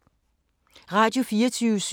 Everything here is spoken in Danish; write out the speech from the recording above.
Radio24syv